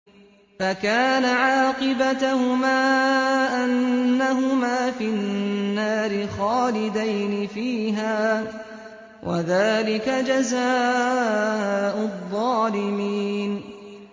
فَكَانَ عَاقِبَتَهُمَا أَنَّهُمَا فِي النَّارِ خَالِدَيْنِ فِيهَا ۚ وَذَٰلِكَ جَزَاءُ الظَّالِمِينَ